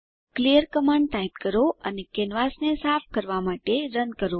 clear command type કરો અને કેનવાસને સાફ કરવાં માટે રન કરો